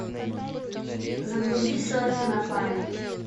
загрузи селфи на память